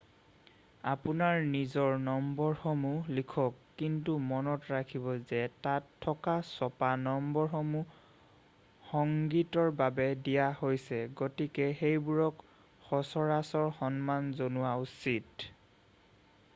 আপোনাৰ নিজৰ নম্বৰসমূহ লিখক কিন্তু মনত ৰাখিব যে তাত থকা ছপা নম্বৰসমূহ সংগীতৰ বাবে দিয়া হৈছে গতিকে সেইবোৰক সচৰাচৰ সন্মান জনোৱা উচিত